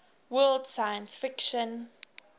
world science fiction